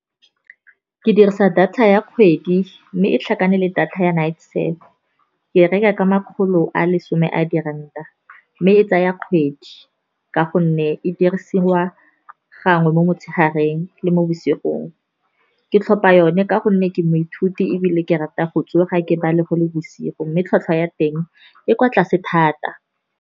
Ke dirisa data ya kgwedi mme e tlhakane le data ya night surf. Ke reka ka makgolo a lesome a diranta, mme e tsaya kgwedi ka gonne e dirise wa gangwe mo motshegareng le mo bosigong. Ke tlhopha yone ka gonne ke moithuti ebile ke rata go tsoga ke ba le go le bosigo, mme tlhwatlhwa ya teng e kwa tlase thata.